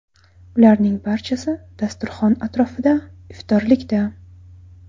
Ularning barchasi dasturxon atrofida iftorlikda.